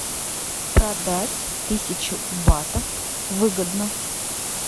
продать тысячу батов выгодно